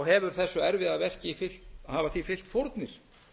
hefur þessu erfiða verki fylgt hafa því fylgt fórnir